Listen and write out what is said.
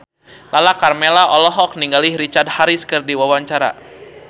Lala Karmela olohok ningali Richard Harris keur diwawancara